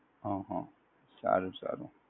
હમ હમ સારું સારું.